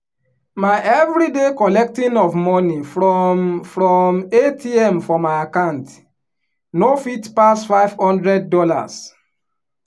my everyday collecting of money from from atm for my account no fit pass five hundred dollars